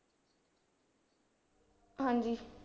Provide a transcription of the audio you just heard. ਹਾਂਜੀ